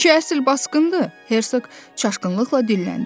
Bu iki əsl basqındır, Hersoq çaşqınlıqla dilləndi.